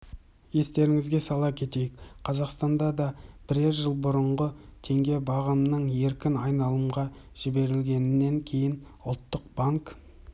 естеріңізге сала кетейік қазақстанда да бірер жыл бұрынғы теңге бағамының еркін айналымға жіберілгенінен кейін ұлттық банк